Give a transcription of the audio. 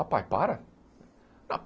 Ah pai, para?